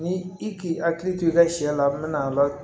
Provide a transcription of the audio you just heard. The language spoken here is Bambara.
Ni i k'i hakili to i ka sɛ la n mɛna la